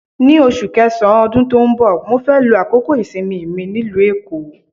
Ní oṣù kẹsàn-án ọdún tó ń bọ̀, mó fẹ́ lo àkókò ìsinmi mi nílùú Èkó.